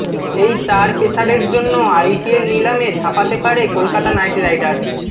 এই চার পেসারের জন্য আইপিএল নিলামে ঝাঁপাতে পারে কলকাতা নাইট রাইডার্স